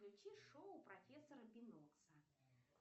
включи шоу профессора бинокса